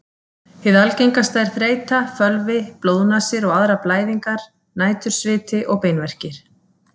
Hið algengasta er þreyta, fölvi, blóðnasir og aðrar blæðingar, nætursviti og beinverkir.